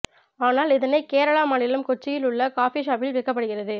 ஆனால் இதனை கேரளா மாநிலம் கொச்சியில் உள்ள காபி ஷாப்பில் விற்கப்படுகிறது